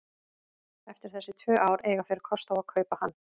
Eftir þessi tvö ár eiga þeir kost á að kaupa hann.